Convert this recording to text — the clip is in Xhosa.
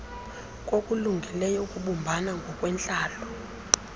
kokulungileyo ukubumbana ngokwentlalo